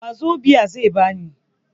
Wazobia zai ba ni.